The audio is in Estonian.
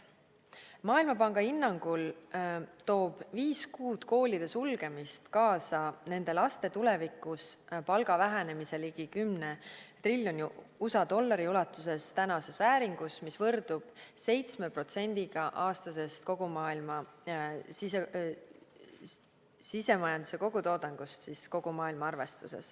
Maailmapanga hinnangul toob viis kuud koolide sulgemist kaasa nende laste tulevikus palga vähenemise ligi 10 triljoni USA dollari ulatuses , mis võrdub 7%-ga aastasest kogu maailma sisemajanduse kogutoodangust.